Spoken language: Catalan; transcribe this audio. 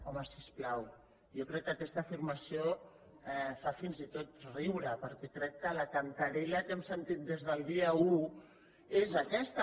home si us plau jo crec que aquesta afirmació fa fins i tot riure perquè crec que la cantarella que hem sentit des del dia un és aquesta